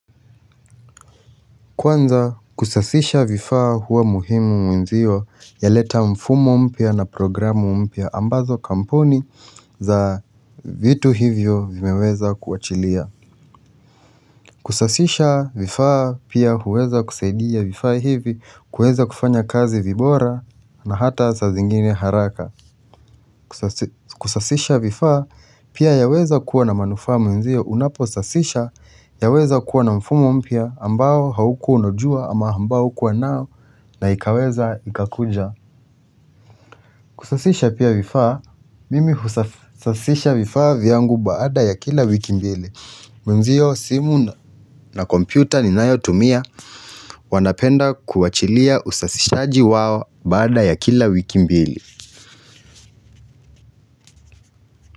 Kwanza kusasisha vifaa huwa muhimu mwenzio ya leta mfumo mpia na programu mpia ambazo kamponi za vitu hivyo vimeweza kuachilia. Kusasisha vifaa pia huweza kusaidia vifaa hivi kuweza kufanya kazi vibora na hata sa zingine haraka. Kusasisha vifaa pia yaweza kuwa na manufaa mwenzio unapo sasisha yaweza kuwa na mfumo mpia ambao hauku onojua ama ambao kuwa nao naikaweza ikakunja. Kusasisha pia vifaa mimi husasisha vifaa vyangu baada ya kila wiki mbili. Mwenzio simu na kompyuta ni nayo tumia. Wanapenda kuachilia usasishaaji wao baada ya kila wiki mbili.